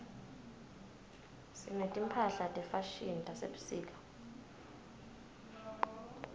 sineti mphahla tefashini tasebusika